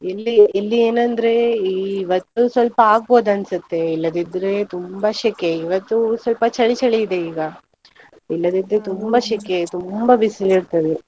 ಇಲ್ಲಿ ಇಲ್ಲಿ ಏನಂದ್ರೆ ಈ ಇವತ್ತು ಸ್ವಲ್ಪ ಆಗ್ಬೋದು ಅನ್ಸುತ್ತೆ, ಇಲ್ಲದಿದ್ರೆ ತುಂಬಾ ಶೆಕೆ, ಇವತ್ತು ಸ್ವಲ್ಪ ಚಳಿ ಚಳಿ ಇದೆ ಈಗ, ಇಲ್ಲದಿದ್ರೆ ಶೆಕೆ, ತುಂಬಾ ಬಿಸಿಲು ಇರ್ತದೆ.